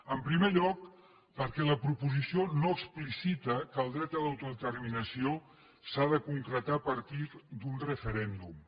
en primer lloc perquè la proposició no explicita que el dret a l’autodeterminació s’ha de concretar a partir d’un referèndum